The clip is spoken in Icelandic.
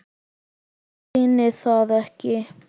Reyni það ekki.